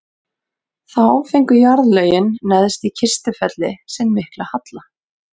þá fengu jarðlögin neðst í kistufelli sinn mikla halla